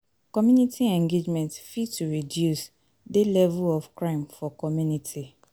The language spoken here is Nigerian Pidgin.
Community engagement fit to reduce de level of crime for community